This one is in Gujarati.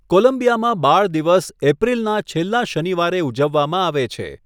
કોલંબિયામાં બાળ દિવસ એપ્રિલના છેલ્લા શનિવારે ઉજવવામાં આવે છે.